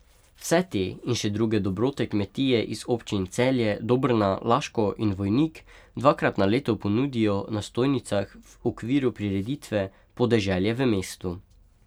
Vse te in še druge dobrote kmetje iz občin Celje, Dobrna, Laško in Vojnik dvakrat na leto ponudijo na stojnicah v okviru prireditve Podeželje v mestu.